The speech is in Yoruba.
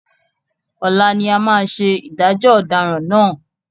Ọlá ni a máa ṣe ìdájọ́ ọ̀daràn náà.